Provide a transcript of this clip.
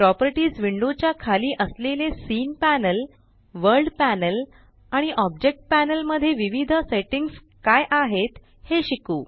properties window च्या खाली असलेले सीन पॅनल वर्ल्ड पॅनल आणि ऑब्जेक्ट पॅनल मध्ये विविध सेट्टिंग्स काय आहेत हे शिकू